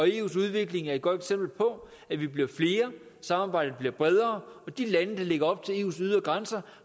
eus udvikling er et godt eksempel på at vi bliver flere samarbejdet bliver bredere og de lande der ligger op til eus ydre grænser